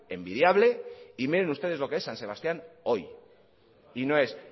envidiable y miren ustedes lo que es san sebastián hoy y no es